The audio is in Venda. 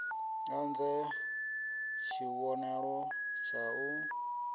u dzhie tshivhonelo tshau d